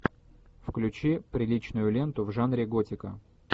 включи приличную ленту в жанре готика